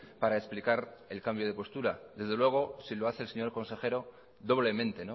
para explicar el cambio de postura desde luego si lo hace el señor consejero doblemente